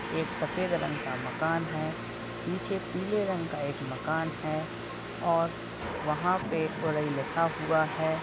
एक सफ़ेद रंग का मकान है पीछे पीले रंग का एक मकान है और वहाँ पे ओरई लिखा हुआ है।